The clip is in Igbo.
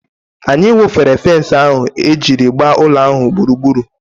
Anyị wụfere fens ahụ e jiri gbaa ụlọ ala ahụ gburugburu.